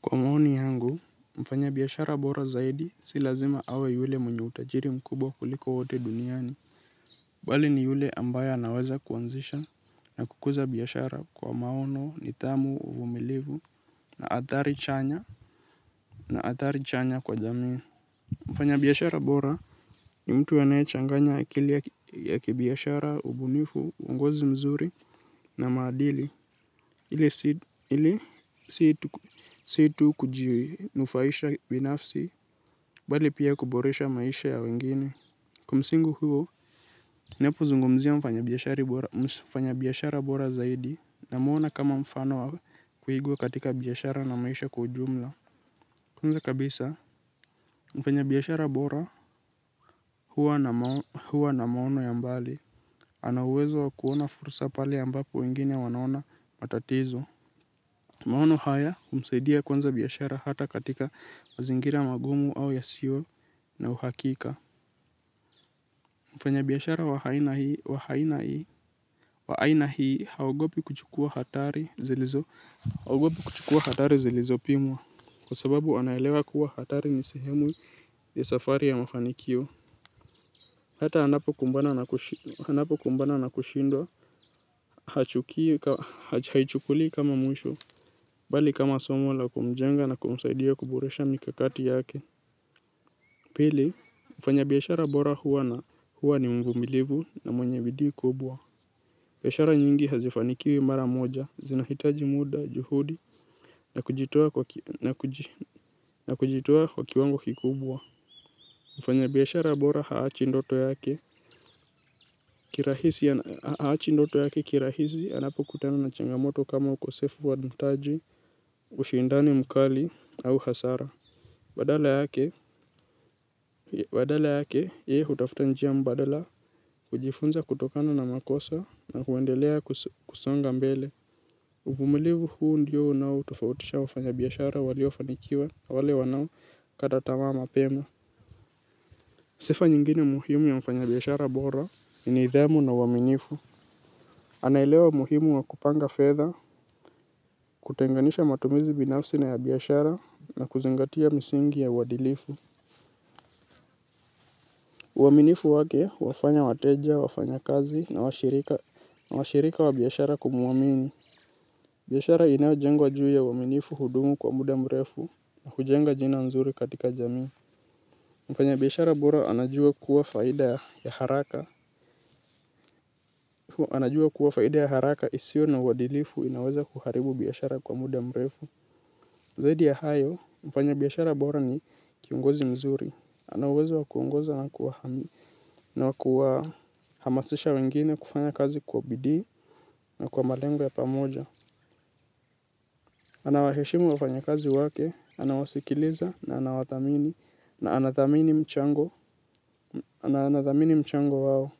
Kwa maoni yangu mfanyabiashara bora zaidi si lazima awe yule mwenye utajiri mkubwa kuliko wote duniani bali ni yule ambaye anaweza kuanzisha na kukuza biashara kwa maono nidhamu uvumilivu na athari chanya na athari chanya kwa jamii. Mfanyabiashara bora ni mtu anayechanganya akili ya kibiashara, ubunifu, uongozi mzuri na maadili ili si tu kujinufaisha binafsi bali pia kuboresha maisha ya wengine. Kwa msingi huo, napozungumzia mfanyabiashara bora zaidi na mwona kama mfano wa kuigwa katika biashara na maisha kwa ujumla. Kwanza kabisa, mfanyabiashara bora huwa na maono ya mbali. Ana uwezo wa kuona fursa pale ambapo wengine wanaona matatizo. Maono haya humsaidia kuanza biashara hata katika wazingira magumu au yasio na uhakika. Mfanyabiashara wa aina hii haogopi kuchukua hatari zilizopimwa. Kwa sababu anaelewa kuwa hatari ni sehemu ya safari ya mafanikio. Hata anapo kumbana na kushindwa, haichukuli kama mwisho, bali kama somo la kumjenga na kumsaidia kuboresha mikakati yake. Pili, mfanyabiashara bora huwa ni mvumilivu na mwenye bidii kubwa. Biashara nyingi haifanikiwi mara moja, zinahitaji muda, juhudi, nakujitoa kwa na kujitoa kwa kiwango kikubwa. Mfanyabiashara bora haachi ndoto yake. Kirahisi haachi ndoto yake kirahisi anapokutena na changamoto kama ukosefu wa mtaji ushindani mkali au hasara badala yake. Badala yake yeye hutafuta njia mbadala hujifunza kutokana na makosa na huendelea kusonga mbele. Uvumilivu huu ndiyo unaotofautisha wafanyabiashara waliofanikiwa wale wanaokaa tamaa mapema. Sifa nyingine muhimu ya mfanyabiashara bora ni nidhamu na uaminifu. Anaelewa umuhimu wa kupanga fedha, kutenganisha matumizi binafsi na ya biashara na kuzingatia misingi ya uadilifu. Uaminifu wake huwafanya wateja, wafanyakazi na washirika wa biashara kumuamini. Biashara inayojengwa juu ya uaminifu hudumu kwa muda mrefu na hujenga jina nzuri katika jamii. Mfanyabiashara bora anajua kuwa faida ya haraka. Anajua kuwa faida haraka isio na uadilifu inaweza kuharibu biashara kwa muda mrefu. Zaidi ya hayo, mfanyabiashara bora ni kiongozi mzuri. Anauwezo wakuongoza na wakuwa hamasisha wengine kufanya kazi kwa bidii na kwa malengo ya pamoja. Anawaheshimu wafanyakazi wake, anawasikiliza na anawathamini na anathamini mchango wao.